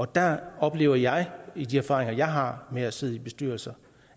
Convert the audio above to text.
der oplever jeg via de erfaringer jeg har med at sidde i bestyrelser